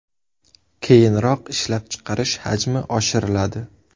Keyinroq ishlab chiqarish hajmi oshiriladi.